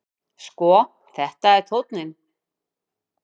Sko, þetta er tónninn!